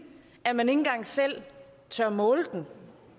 at man ikke engang selv tør måle den